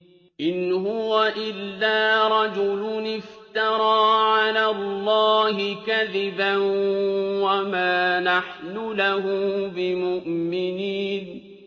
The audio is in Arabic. إِنْ هُوَ إِلَّا رَجُلٌ افْتَرَىٰ عَلَى اللَّهِ كَذِبًا وَمَا نَحْنُ لَهُ بِمُؤْمِنِينَ